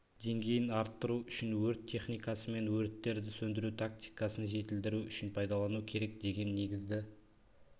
деңгейін арттыру үшін өрт техникасы мен өрттерді сөндіру тактикасын жетілдіру үшін пайдалану керек деген негізді